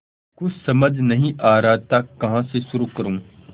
कुछ समझ नहीं आ रहा था कहाँ से शुरू करूँ